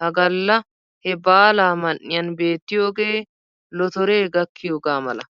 Ha galla he baalaa man"iyan beettiyogee lotoree gakkiyogaa mala.